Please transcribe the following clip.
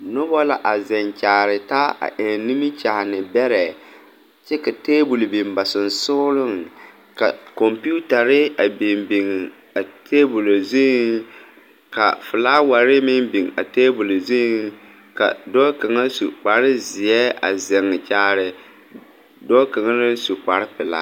Noba la a ziŋ kyaare taa a eŋ nimikyaane bɛrɛ kyɛ ka taabol biŋ ba sɔgsɔliŋ ka kɔmpeuyare a biŋbiŋ a tabol zuiŋ ka filaaware meŋ biŋ a tabol zuiŋ ka dɔɔ kaŋa su kpare zeɛ a ziŋ kyaare dɔɔ kaŋ naŋ su kpare pilaa.